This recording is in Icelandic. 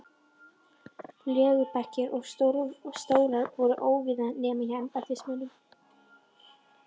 Legubekkir og stólar voru óvíða nema hjá embættismönnum.